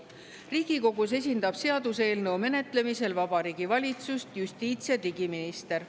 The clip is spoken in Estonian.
Riigikogus esindab seaduseelnõu menetlemisel Vabariigi Valitsust justiits‑ ja digiminister.